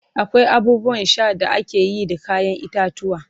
akwai abubuwan Sha da akeyi da kayan itatuwwa